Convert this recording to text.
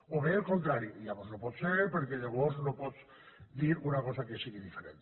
o bé al contrari i llavors no pot ser perquè llavors no pots dir una cosa que sigui diferent